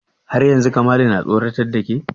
Har yanzu Kamalu na tsoratar da ke?